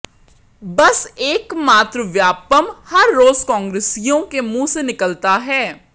बस एक मात्र व्यापमं हर रोज कांग्रेसियों के मुंह से निकलता है